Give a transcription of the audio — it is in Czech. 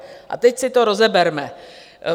A teď si to rozeberme.